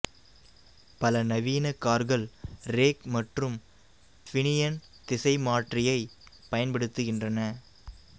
பல நவீன கார்கள் ரேக் மற்றும் பினியன் திசைமற்றியை பயன்படுத்துகின்றன